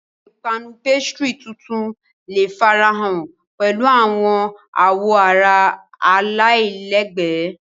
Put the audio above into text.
Awọn ipanu pastry tuntun le farahan pẹlu awọn awoara alailẹgbẹ.